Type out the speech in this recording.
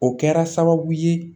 O kɛra sababu ye